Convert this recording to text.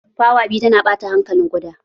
Fawa biyu tana ɓata hankalin ƙuda.